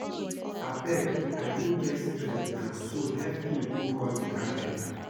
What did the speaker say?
Abeg I no get strength now so help me go call the carpenter